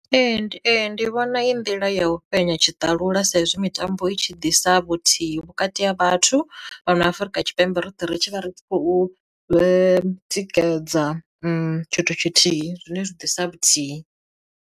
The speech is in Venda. Ee ndi ee ndi vhona iyi nḓila ya u fhenya tshiṱalula sa izwi mitambo i tshi ḓisa vhuthihi vhukati ha vhathu, fhano Afrika Tshipembe roṱhe ri tshi vha ri khou tsikedzela tshithu tshithihi zwine zwi ḓisa vhuthihi.